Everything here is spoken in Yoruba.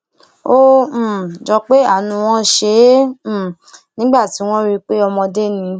ó um jọ pé àánú wọn ṣe é um nígbà tí wọn rí i pé ọmọdé ni